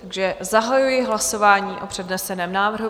Takže zahajuji hlasování o předneseném návrhu.